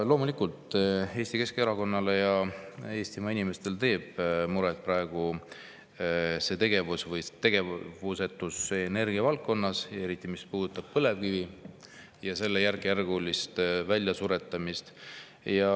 Loomulikult Eesti Keskerakonnale ja Eestimaa inimestele teeb muret praegu tegevus või tegevusetus energiavaldkonnas, eriti, mis puudutab põlevkivi ja selle järkjärgulist väljasuretamist.